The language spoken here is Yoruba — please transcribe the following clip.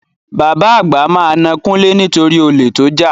Bàbá àgbà máa na Kúnlé nitori olè tó jà.